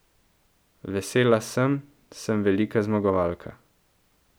Vesela sem, sem velika zmagovalka.